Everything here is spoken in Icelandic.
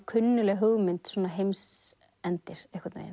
kunnugleg hugmynd svona heimsendir einhvern veginn